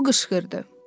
O qışqırdı.